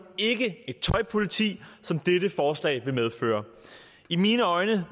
ikke et tøjpoliti som dette forslag vil medføre i mine øjne